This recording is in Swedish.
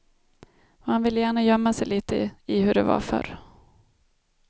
Man vill gärna gömma sig lite i hur det var förr.